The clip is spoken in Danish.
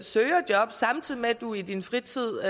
søger job samtidig med at du i din fritid